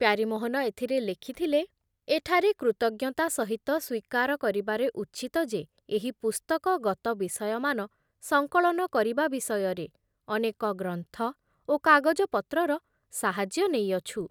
ପ୍ୟାରୀମୋହନ ଏଥିରେ ଲେଖିଥିଲେ ଏଠାରେ କୃତଜ୍ଞତା ସହିତ ସ୍ବୀକାର କରିବାରେ ଉଚିତ ଯେ ଏହି ପୁସ୍ତକଗତ ବିଷୟମାନ ସଂକଳନ କରିବା ବିଷୟରେ ଅନେକ ଗ୍ରନ୍ଥ ଓ କାଗଜପତ୍ରର ସାହାଯ୍ୟ ନେଇଅଛୁ ।